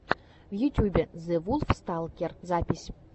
в ютьюбе зэвулфсталкер запись